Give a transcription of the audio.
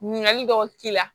Ɲininkali dɔw k'i la